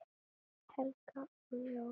Helga og Jón.